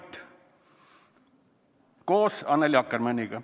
" Ka see on esitatud koos Annely Akkermanniga.